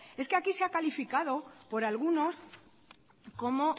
es que aquí se ha calificado por algunos como